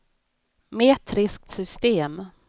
metriskt system